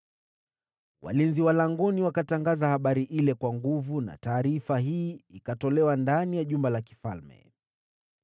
Walinzi wa langoni wakatangaza habari ile kwa sauti kuu, na taarifa hii ikatolewa ndani ya jumba la mfalme.